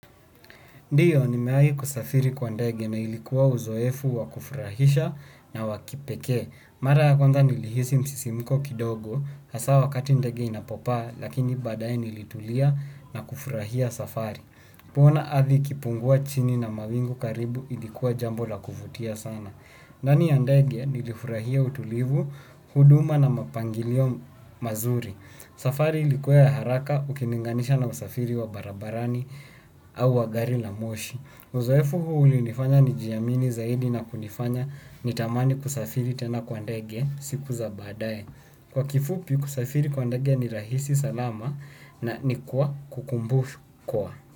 Ndiyo, nimeahi kusafiri kwa ndege na ilikuwa uzoefu wa kufurahisha na wa kipekee. Mara ya kwanza nilihisi msisimiko kidogo, hasa wakati ndege inapopaa, lakini badae nilitulia na kufurahia safari. Kuona ardhi ikipungua chini na mawingu karibu ilikuwa jambo la kuvutia sana. Ndani ya ndege nilifurahia utulivu, huduma na mapangilio mazuri. Safari ilikuwa ya haraka ukilinganisha na usafiri wa barabarani au wa gari la moshi. Uzoefu huu ulinifanya nijiamini zaidi na kunifanya nitamani kusafiri tena kwa ndege siku za baadaye. Kwa kifupi kusafiri kwa ndege ni rahisi, salama na ni kwa kukumbukwa.